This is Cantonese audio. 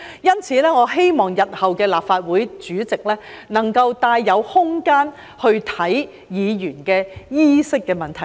因此，我希望日後的立法會主席能夠帶有空間審視議員衣飾的問題。